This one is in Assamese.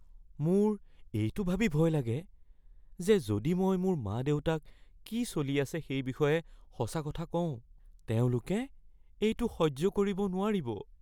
মোৰ এইটো ভাবি ভয় লাগে যে যদি মই মোৰ মা-দেউতাক কি চলি আছে সেই বিষয়ে সঁচা কথা কওঁ, তেওঁলোকে এইটো সহ্য কৰিব নোৱাৰিব।